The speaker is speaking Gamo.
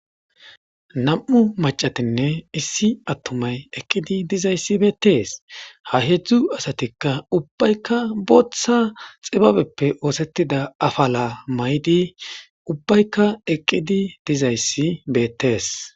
Nam'u macatinne issi attumay eqqidi dizayssi beettees ha hedzdzu asatikka ubbaykka booththa xibabeppe oosettida afala maydi ubbaykka eqqidi dizayssi beettees.